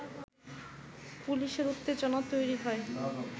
পুলিশের উত্তেজনা তৈরি হয়